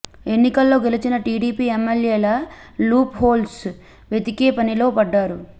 ఎన్నికల్లో గెలిచిన టీడీపీ ఎమ్మెల్యేల లూప్ హోల్స్ వెతికే పనిలో పడ్డారు